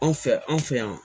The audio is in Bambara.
Anw fɛ an fɛ yan